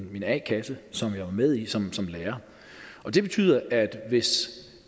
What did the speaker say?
min a kasse som jeg var med i som lærer det betyder at